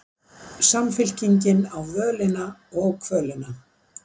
Samfylkingin á völina og kvölina